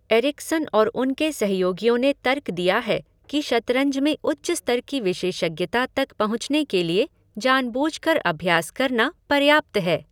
Ericsson और उनके सहयोगियों ने तर्क दिया है कि शतरंज में उच्च स्तर की विशेषज्ञता तक पहुंचने के लिए जानबूझकर अभ्यास करना पर्याप्त है।